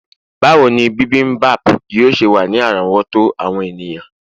bawo ni bimbimbap yíò ṣe wa ni àrówòtó àwọn eniyan